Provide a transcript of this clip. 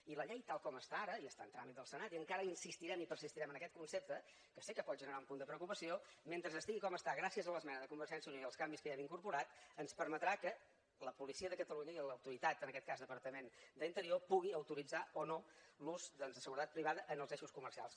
i la llei tal com està ara i està en tràmit al senat i encara insistirem i persistirem en aquest concepte que sé que pot generar un punt de preocupació mentre estigui com està gràcies a l’esmena de convergència i unió i els canvis que hi hem incorporat ens permetrà que la policia de catalunya i l’autoritat en aquest cas departament d’interior puguin autoritzar o no l’ús de seguretat privada en els eixos comercials